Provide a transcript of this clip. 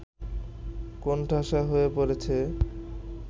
কোণঠাসা হয়ে পড়েছে